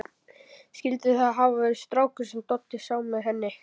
Skyldi það hafa verið strákurinn sem Doddi sá með henni?